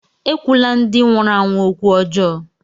Ekwula ndị nwụrụ anwụ okwu ọjọọ!